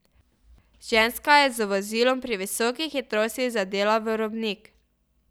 Ženska je z vozilom pri visoki hitrosti zadela v robnik.